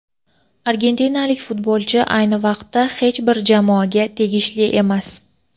argentinalik futbolchi ayni vaqtda hech bir jamoaga tegishli emas.